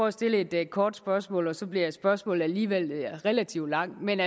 at stille et kort spørgsmål og så bliver spørgsmålet alligevel relativt langt men